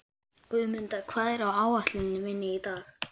Guðmunda, hvað er á áætluninni minni í dag?